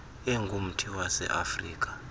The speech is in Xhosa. engumthi wase afirika